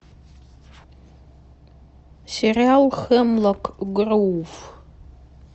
сериал хемлок гроув